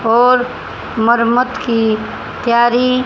और मरम्मत की तैयारी --